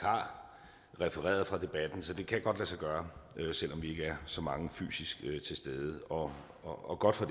refereret fra debatten så det kan godt lade sig gøre selv om vi ikke er så mange fysisk til sted og og godt for